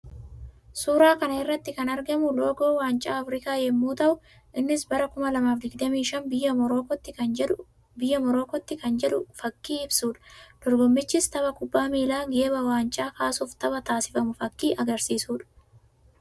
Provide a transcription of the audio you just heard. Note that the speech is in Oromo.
Suuraa kana irratti kan argamu loogoo waancaa Afrikaa yammuu ta'u; innis bara 2025 biyya Morookootti kan jedhu fakkii ibsuudha. Dorgommichis tapha kubbaa miilaa geeba waancaa kaasuuf tapha taasifamu fakkii agarsiisuudha.